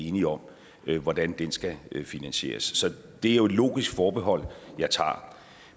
enig om hvordan skal finansieres så det er jo et logisk forbehold jeg tager